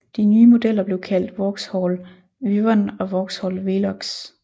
De nye modeller blev kaldt Vauxhall Wyvern og Vauxhall Velox